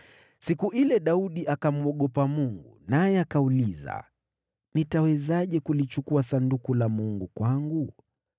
Siku ile Daudi akamwogopa Mungu naye akauliza. “Nitawezaje kulichukua Sanduku la Mungu kwangu?”